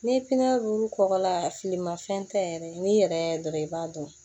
Ni pipiniyɛri kɔkɔ la filimanfɛn tɛ yɛrɛ n'i yɛrɛ y'a dɔrɔn i b'a dɔn